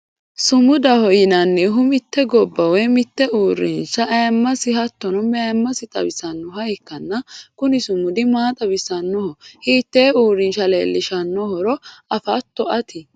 sumudaho yinannihu mitte gobba woy mitte uurrinshata ayiimasenna hattono mayiimase xawisannoha ikkanna, kuni sumudi maa xawisannoho? hiittee uurinsha leelishannohoro afootto ati?